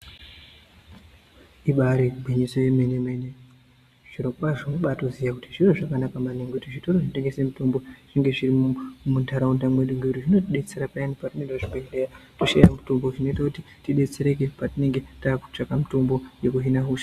Ibari gwinyiso yemene mene zviro kwazvo unotobaziya kuti zviro zvakanaka maningi kuti zvitoro zvinotengesa mutombo zvinge zviri mundaraunda medu ngekuti zvinotidetsera patinoenda kuzvibhedhlera toshaya mutombo zvinoita kuti tidetsereke patinenge takutsvaka mitombo yekuhina hosha.